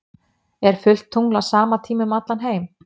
er fullt tungl á sama tíma um allan heim